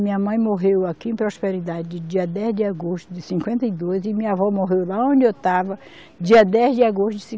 Minha mãe morreu aqui em Prosperidade dia dez de agosto de cinquenta e dois e minha avó morreu lá onde eu estava dia dez de agosto de